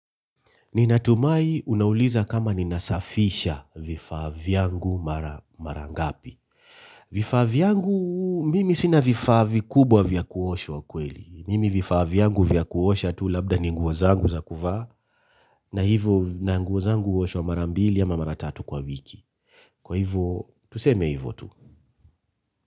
Ninatumai unauliza kama ninasafisha vifaa vyangu mara ngapi. Vifaa vyangu mimi sina vifaa vikubwa vya kuoshwa kweli. Mimi vifaa vyangu vya kuosha tu labda ni nguo zangu za kuvaa na hivo na nguo zangu huoshwa mara mbili ama mara tatu kwa wiki. Kwa hivo, tuseme hivo tu.